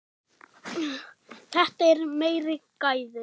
Þetta eru meiri gæði.